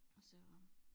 Og så